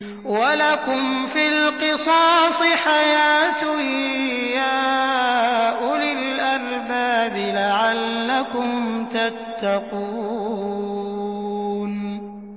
وَلَكُمْ فِي الْقِصَاصِ حَيَاةٌ يَا أُولِي الْأَلْبَابِ لَعَلَّكُمْ تَتَّقُونَ